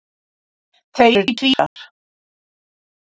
Þau eru tvíburar.